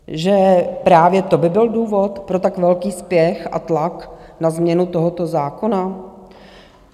Že právě to by byl důvod pro tak velký spěch a tlak na změnu tohoto zákona?